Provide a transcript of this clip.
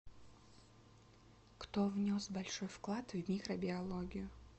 кто внес большой вклад в микробиологию